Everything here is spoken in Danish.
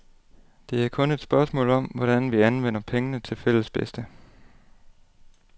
Det er kun et spørgsmål om, hvordan vi anvender pengene til fælles bedste.